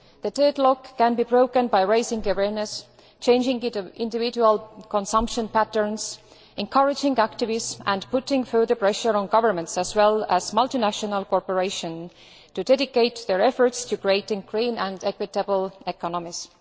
The deadlock can be broken by raising awareness, changing individual consumption patterns, encouraging activism and putting further pressure on governments as well as multinational corporations to dedicate their efforts to creating green and equitable economies.